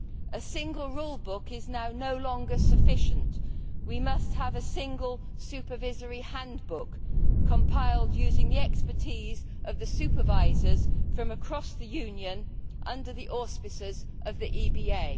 A single rulebook is no longer sufficient we must have a single supervisory handbook, compiled using the expertise of supervisors from across the Union under the auspices of the EBA.